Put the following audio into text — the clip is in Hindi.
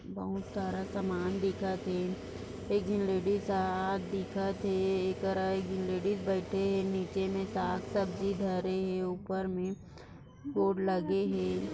बहुत सारा सामान दिखाती एक लेडीज हात दिखत है एक तरह लेडीज बैठे है नीचे मे ताक सब्जी धरे है उपर मे बोर्ड लगे है।